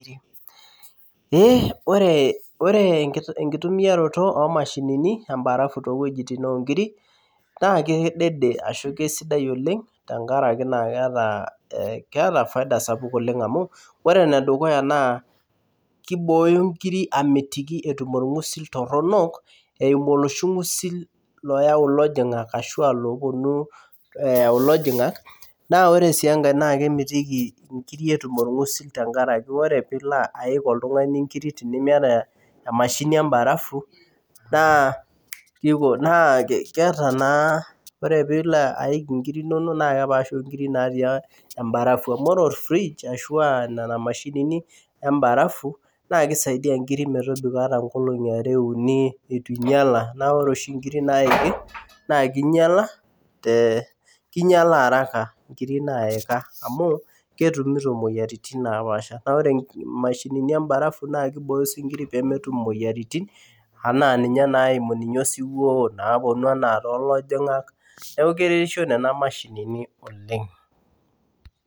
Ee ore, ore enkitumiato omashini embarafu toowuejitin onkiri naa kedede ashu kesidai oleng tenkaraki naa keeta , keeta faida sapuk oleng amu ore enedukuya naa kibooyo nkiri amitiki itayu orngusil toronok eimu oloshi ngusil loyau ilojingak ashu loponu eyau ilojingak naa ore sii enkae , naa kemitiki inkiri etum orngusil tenkaraki ore tinilo aik oltungani nkiri tenimiata emashini embarafu naa kiko, naa keeta naa , ore pilo aik inkiri inonok naa kepaasha onkiri natii embarafu amu ore orfridge ashuaa nena mashinini emabarafu naa kisaidia nkiri metobiko ata nkolongi are, uni ,eitu inyiala . Naa ore oshi inkiri naiki naa kinyiala te, kinyiala araka nkiri naika amu ketumito imoyiaritin napasha , naa ore imashinini embarafu naa kibooyo sii inkiri pemetum imoyiaritin anaa naimu ninye osiwuo naponu anaa tolojingak , neeku keretisho nena mashinini oleng'.